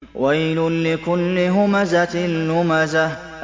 وَيْلٌ لِّكُلِّ هُمَزَةٍ لُّمَزَةٍ